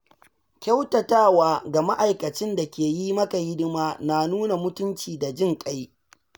Kyautatawa ga ma’aikacin da ke yi maka hidima na nuna mutunci da jinƙai.